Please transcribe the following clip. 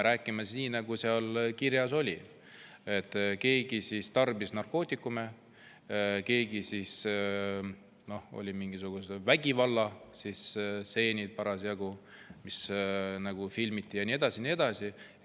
Räägime nii, nagu seal kirjas oli, et keegi tarbis seal narkootikume, siis olid mingisugused vägivallastseenid, mida filmiti, ja nii edasi ja nii edasi.